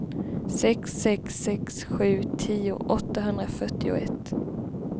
sex sex sex sju tio åttahundrafyrtioett